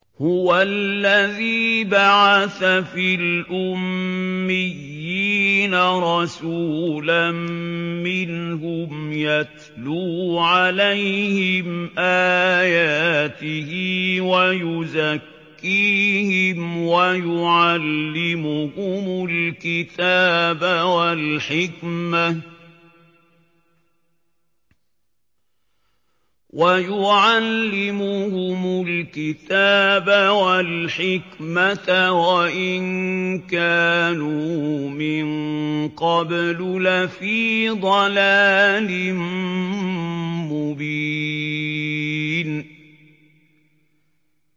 هُوَ الَّذِي بَعَثَ فِي الْأُمِّيِّينَ رَسُولًا مِّنْهُمْ يَتْلُو عَلَيْهِمْ آيَاتِهِ وَيُزَكِّيهِمْ وَيُعَلِّمُهُمُ الْكِتَابَ وَالْحِكْمَةَ وَإِن كَانُوا مِن قَبْلُ لَفِي ضَلَالٍ مُّبِينٍ